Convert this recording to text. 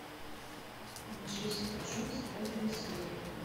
джессика джонс пятая серия